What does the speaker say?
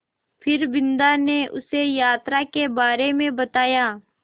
फिर बिन्दा ने उसे यात्रा के बारे में बताया